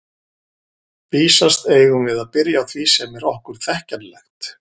Vísast eigum við að byrja á því sem er okkur þekkjanlegt.